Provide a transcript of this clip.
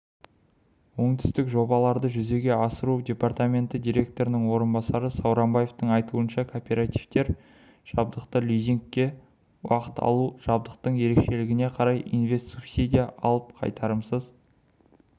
оңтүстік жобаларды жүзеге асыру департаменті директорының орынбасары сауранбаевтың айтуынша кооперативтер жабдықты лизингке алу арқылы жабдықтың ерекшелігіне қарай инвест-субсидия алып қайтарымсыз